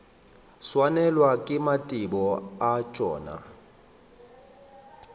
swanelwa ke mathebo a tšona